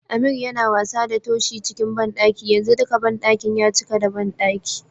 Ameer Yana wasa da Toshi cikin banɗaki yanzu dika banɗakin ya cika da banɗaki.